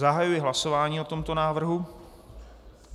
Zahajuji hlasování o tomto návrhu.